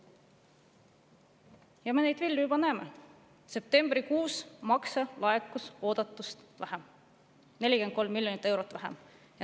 Ja selle vilju me juba näeme: septembrikuus laekus makse oodatust 43 miljonit eurot vähem.